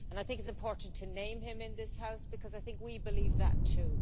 I think it is important to name him in this House, because I think we believe that too.